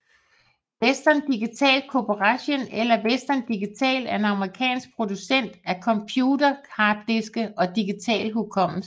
Western Digital Corporation eller Western Digital er en amerikansk producent af computerharddiske og digital hukommelse